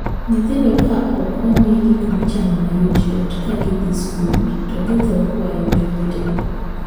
Nyithindo ka ok omii gik michamo mayotyot ka gidhii skul to githoro kwayo jowetegi.